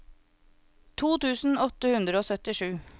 to tusen åtte hundre og syttisju